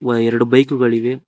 ವ ಎರಡು ಬೈಕ್ ಗಳು ಇವೆ.